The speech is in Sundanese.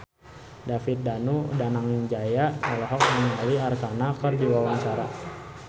David Danu Danangjaya olohok ningali Arkarna keur diwawancara